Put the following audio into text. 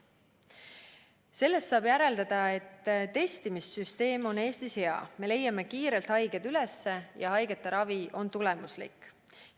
Sellest saab järeldada, et testimissüsteem on Eestis hea, me leiame kiirelt haiged üles ja haigete ravi on tulemuslik.